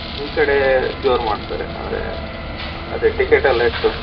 ಈಕಡೆ ಜೋರ್ ಮಾಡ್ತಾರೆ ಅಂದ್ರೆ, ಅದೇ ticket ಎಲ್ಲಾ ಇಟ್ಟು.